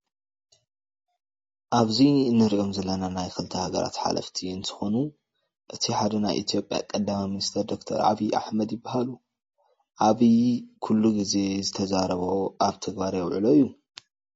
ኣብዚ እንረኢም ዘለና ናይ ክልተ ሃገራት ሓለፍቲ እንትኮና እቲ ሓደ ናይ ኢትዮጰያ ቀዳማይ ሚንስተር ዶርተር ኣብይ ኣሕበድ ይበሃሉ። ኣብይ ኩሉ ግዜ ዝተዛረፎ ኣብ ተግባር የውዕሎ እዩ።